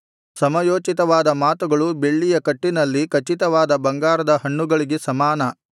ಸಮಯೋಚಿತವಾದ ಮಾತುಗಳು ಬೆಳ್ಳಿಯ ಕಟ್ಟಿನಲ್ಲಿ ಖಚಿತವಾದ ಬಂಗಾರದ ಹಣ್ಣುಗಳಿಗೆ ಸಮಾನ